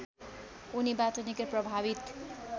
उनीबाट निकै प्रभावित